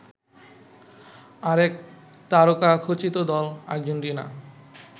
আরেক তারকাখচিত দল আর্জেন্টিনা